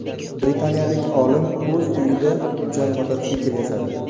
Britaniyalik olim o‘z uyida uchar mototsikl yasadi .